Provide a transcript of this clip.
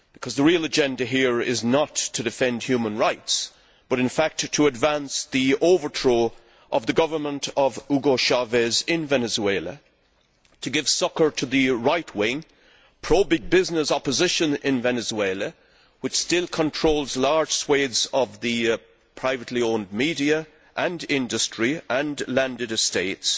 The real agenda here is not to defend human rights but, in fact, to advance the overthrow of the government of Hugo Chávez in Venezuela and to give succour to the right wing pro big business opposition in Venezuela, which still controls large swathes of the privately owned media and industry and landed estates